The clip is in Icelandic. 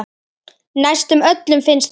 Næstum öllum finnst það.